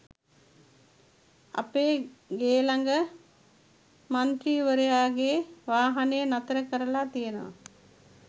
අපේ ගේ ළඟ මන්තී්‍රවරයාගේ වාහනය නතර කරලා තියනවා.